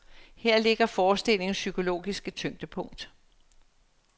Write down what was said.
Her ligger forestillingens psykologiske tyngdepunkt.